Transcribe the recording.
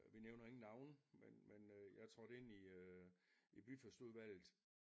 Vi nævner ingen navne men men øh jeg trådte ind i øh byfestudvalget